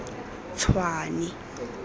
tshwane